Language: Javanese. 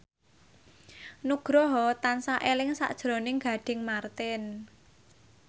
Nugroho tansah eling sakjroning Gading Marten